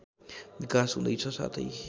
विकास हुँदैछ साथै